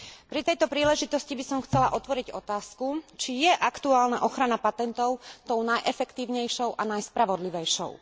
Pri tejto príležitosti by som chcela otvoriť otázku, či je aktuálna ochrana patentov tou najefektívnejšou a najspravodlivejšou.